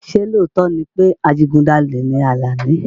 Ṣé lóòótọ́ ni pé adigunjalè ni Alani?